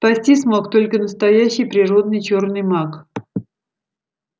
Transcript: спастись мог только настоящий природный чёрный маг